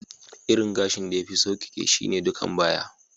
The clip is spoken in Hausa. Irin gashin da ya fi saukeke shine ɗukan baya.